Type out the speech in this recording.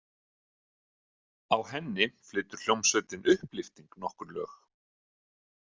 Á henni flytur hljómsveitin Upplyfting nokkur lög.